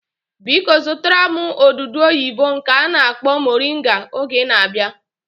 Biko zụtara m odudu oyibo nke a na-akpọ moringa oge ị na-abịa